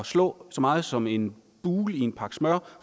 slå så meget som en bule i en pakke smør